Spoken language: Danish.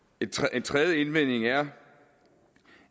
en tredje indvending er